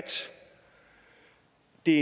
det